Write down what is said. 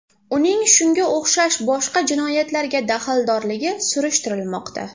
Uning shunga o‘xshash boshqa jinoyatlarga daxldorligi surishtirilmoqda.